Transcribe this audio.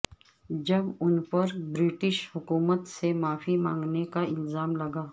جب ان پر برٹش حکومت سے معافی مانگنے کا الزام لگا